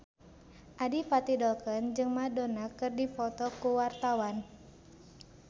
Adipati Dolken jeung Madonna keur dipoto ku wartawan